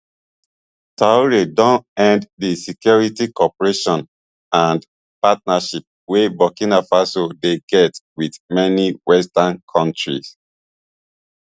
traore don end di security cooperation and partnerships wey burkina faso dey get wit many western kontris